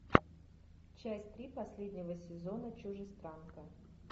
часть три последнего сезона чужестранка